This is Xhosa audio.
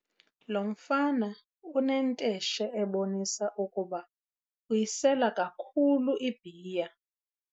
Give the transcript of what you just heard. Lo mfama unentesheebonisa ukuba uyisela kakhulu ibhiya.